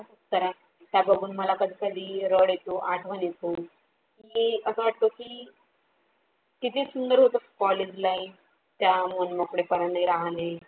खरय त्या बघून मला कधी कधी रड येतो आठवण येतो की अस वाटतो की किती सुंदर होत college life त्या मन मोकळे पणाने राहणे